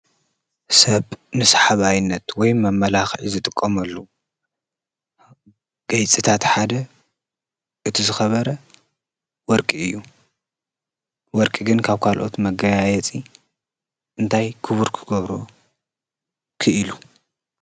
ሰብ ንሳሓባይነት ወይ ንመመላኽዒ ዝጥቀመሉ ጌፅታት ሓደ እቲ ዝኸበረ ወርቂ እዩ፡፡ ወርቂ ግን ካብ ካልኦት መጋያየፂ እንታይ ክቡር ክገብሮ ኪኢሉ?